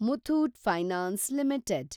Muthoot finance limited